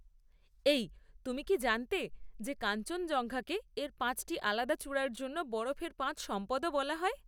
এই, তুমি কি জানতে যে কাঞ্চনজঙ্ঘা কে এর পাঁচটি আলাদা চূড়ার জন্য বরফের পাঁচ সম্পদ ও বলা হয়?